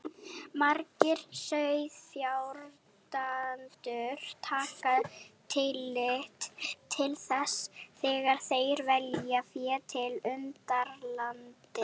Margir sauðfjárbændur taka tillit til þess þegar þeir velja fé til undaneldis.